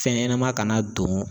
Fɛn ɲɛnɛma kana don